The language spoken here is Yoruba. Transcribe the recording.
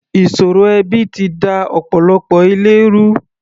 Ìṣòro ẹbi ti da ọ̀pọ̀lọpọ̀ ilé ru.